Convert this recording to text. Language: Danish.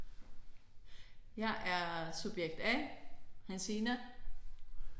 Jeg er subjekt A Hansine